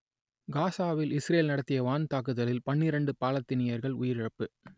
காசாவில் இசுரேல் நடத்திய வான் தாக்குதலில் பன்னிரண்டு பாலத்தீனியர்கள் உயிரிழப்பு